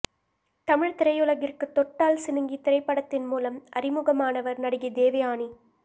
தமிழ் திரையுலகிற்கு தொட்டால் சிணுங்கி திரைப்படத்தின் மூலம் அறிமுகமானவர் நடிகை தேவயாணி